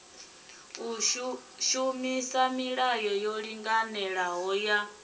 shumisa milayo yo linganelaho ya